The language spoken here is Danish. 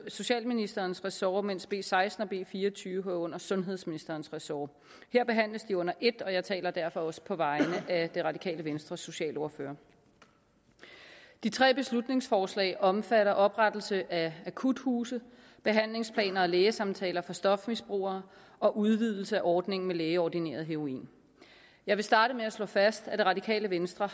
socialministerens ressort mens b seksten og b fire og tyve hører under sundhedsministerens ressort her behandles de under et og jeg taler derfor også på vegne af det radikale venstres socialordfører de tre beslutningsforslag omfatter oprettelse af akuthuse behandlingsplaner og lægesamtaler for stofmisbrugere og udvidelse af ordningen med lægeordineret heroin jeg vil starte med at slå fast at det radikale venstre